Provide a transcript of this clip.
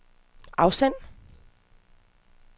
afsend